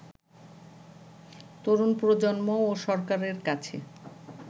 তরুণ প্রজন্ম ও সরকারের কাছে